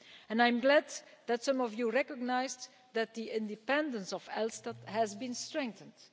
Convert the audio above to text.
I am glad that some of you recognised that the independence of ELSTAT has been strengthened.